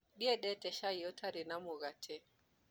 Ndiendete cai ũtarĩ na mũgate.